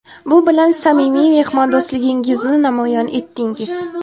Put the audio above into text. Bu bilan samimiy mehmondo‘stligingizni namoyon etdingiz.